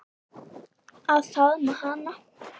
Að faðma hana.